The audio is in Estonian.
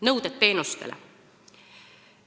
Nõuded teenustele.